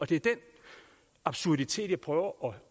det er den absurditet jeg prøver